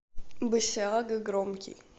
басиага громкий